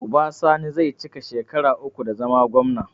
Uba sani zai cika shekara uku da zama gwamna